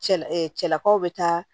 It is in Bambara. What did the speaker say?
Cɛla cɛlakaw be taa